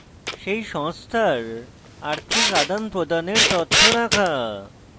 সেই সংস্থার আর্থিক আদানপ্রদানের তথ্য রাখা